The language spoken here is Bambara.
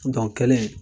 kɛlen